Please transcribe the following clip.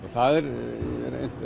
það er